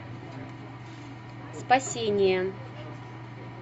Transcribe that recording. спасение